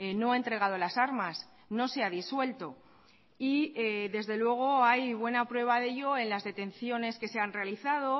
no ha entregado las armas no se ha disuelto y desde luego hay buena prueba de ello en las detenciones que se han realizado